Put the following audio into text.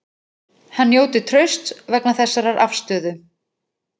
Hann njóti trausts vegna þessarar afstöðu